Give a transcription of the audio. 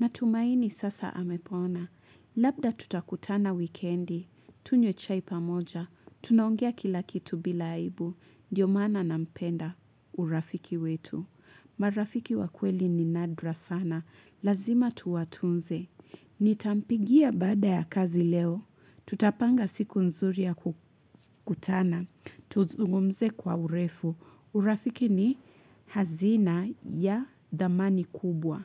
Na tumaini sasa amepona. Labda tutakutana wikendi. Tunywe chai pamoja. Tunaongea kila kitu bila aibu. Ndio maana nampenda urafiki wetu. Marafiki wakweli ni nadra sana. Lazima tuwatunze. Nitampigia baada ya kazi leo. Tutapanga siku nzuri ya kutana. Tuzungumze kwa urefu. Urafiki ni hazina ya dhamani kubwa.